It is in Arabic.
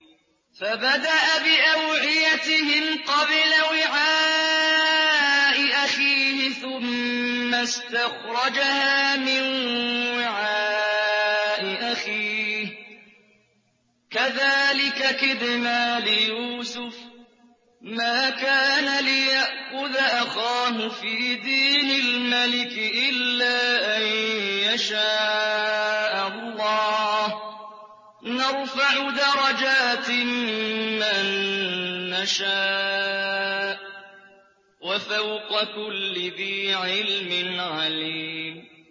فَبَدَأَ بِأَوْعِيَتِهِمْ قَبْلَ وِعَاءِ أَخِيهِ ثُمَّ اسْتَخْرَجَهَا مِن وِعَاءِ أَخِيهِ ۚ كَذَٰلِكَ كِدْنَا لِيُوسُفَ ۖ مَا كَانَ لِيَأْخُذَ أَخَاهُ فِي دِينِ الْمَلِكِ إِلَّا أَن يَشَاءَ اللَّهُ ۚ نَرْفَعُ دَرَجَاتٍ مَّن نَّشَاءُ ۗ وَفَوْقَ كُلِّ ذِي عِلْمٍ عَلِيمٌ